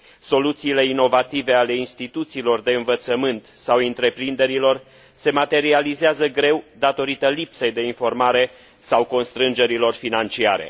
Soluțiile inovative ale instituțiilor de învățământ sau întreprinderilor se materializează greu datorită lipsei de informare sau constrângerilor financiare.